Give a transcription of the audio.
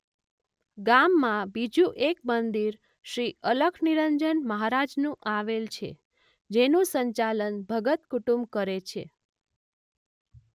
ગામમાં બીજુ એક મંદિર શ્રી અલખનિરંજન મહારાજનુ આવેલ છે જેનું સંચાલન ભગત કુટુંબ કરે છે.